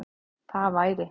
Það væri